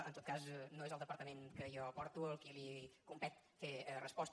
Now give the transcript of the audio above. en tot cas no és el departament que jo porto a qui competeix fer resposta